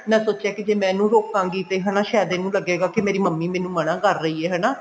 ਮੈਂ ਸੋਚਿਆ ਕੀ ਜੇ ਮੈਂ ਇਹਨੂੰ ਰੋਕਾਂਗੀ ਤਾਂ ਹਨਾ ਸ਼ਾਇਦ ਇਹਨੂੰ ਲਗੇਗਾ ਕਿ ਮੇਰੀ ਮੰਮੀ ਮੈਨੂੰ ਮਨਾ ਕਰ ਰਹੀ ਹੈ ਹਨਾ